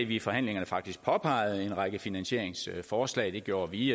vi i forhandlingerne faktisk påpegede en række finansieringsforslag det gjorde vi